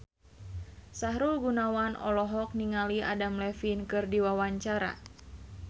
Sahrul Gunawan olohok ningali Adam Levine keur diwawancara